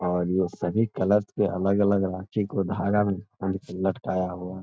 और ये सभी कलर के अलग-अलग राखी को धागा में बांध के लटकाया हुआ है।